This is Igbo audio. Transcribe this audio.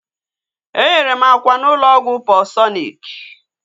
Enyere m akwa n'ụlọ ọgwụ Paulsọnik